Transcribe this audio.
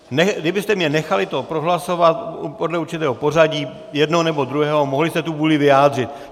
Kdybyste mě nechali to prohlasovat podle určitého pořadí, jednoho nebo druhého, mohli jste tu vůli vyjádřit.